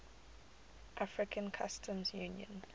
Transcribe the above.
african customs union